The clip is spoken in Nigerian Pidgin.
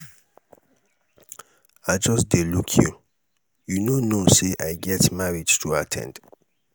i just dey look you. you um no knowsay i get marriage to um at ten d?